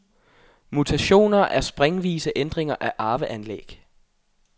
Mutationer er springvise ændringer af arveanlæg.